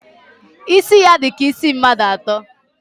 Isi ya di ka isi mmadu ato.